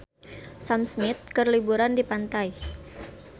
Sam Smith keur liburan di pantai